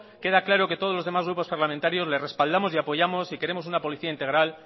queda claro que todos los demás grupos parlamentarios le respaldamos y apoyamos y queremos una policía integral